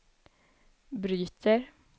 bryter